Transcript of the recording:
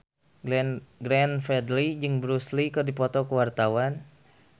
Glenn Fredly jeung Bruce Lee keur dipoto ku wartawan